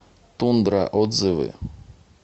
тундра отзывы